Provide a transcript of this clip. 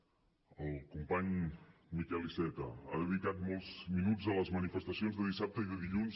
el company miquel iceta ha dedicat molts minuts a les manifestacions de dissabte i de dilluns